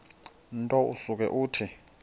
nto usuke uthi